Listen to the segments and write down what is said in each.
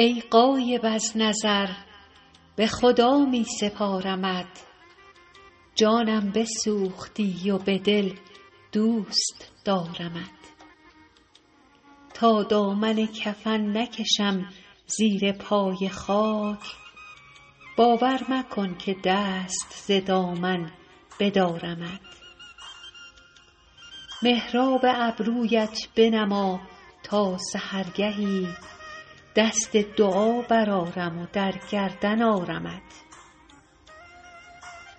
ای غایب از نظر به خدا می سپارمت جانم بسوختی و به دل دوست دارمت تا دامن کفن نکشم زیر پای خاک باور مکن که دست ز دامن بدارمت محراب ابرویت بنما تا سحرگهی دست دعا برآرم و در گردن آرمت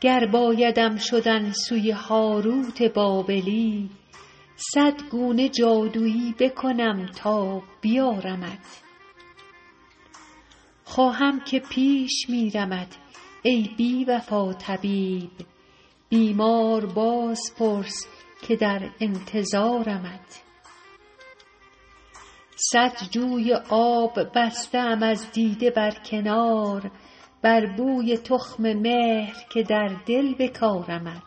گر بایدم شدن سوی هاروت بابلی صد گونه جادویی بکنم تا بیارمت خواهم که پیش میرمت ای بی وفا طبیب بیمار باز پرس که در انتظارمت صد جوی آب بسته ام از دیده بر کنار بر بوی تخم مهر که در دل بکارمت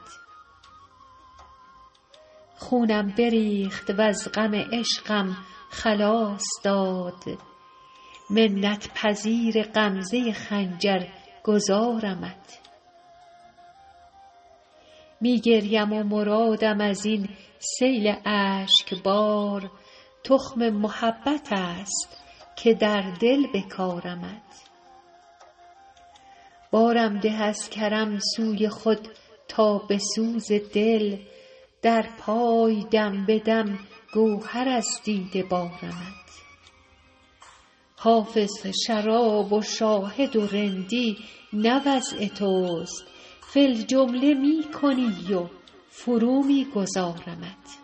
خونم بریخت وز غم عشقم خلاص داد منت پذیر غمزه خنجر گذارمت می گریم و مرادم از این سیل اشک بار تخم محبت است که در دل بکارمت بارم ده از کرم سوی خود تا به سوز دل در پای دم به دم گهر از دیده بارمت حافظ شراب و شاهد و رندی نه وضع توست فی الجمله می کنی و فرو می گذارمت